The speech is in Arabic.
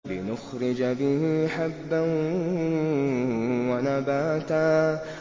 لِّنُخْرِجَ بِهِ حَبًّا وَنَبَاتًا